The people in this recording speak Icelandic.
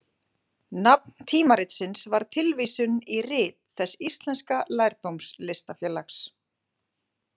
Nafn tímaritsins var tilvísun í Rit þess íslenska lærdómslistafélags.